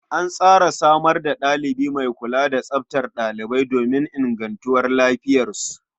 An tsara samar da ɗalibi mai kula tsaftar ɗalibai don ingantuwar lafiyarsu.